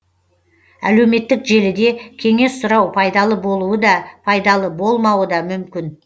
әлеуметтік желіде кеңес сұрау пайдалы болуы да пайдалы болмауы да мүмкін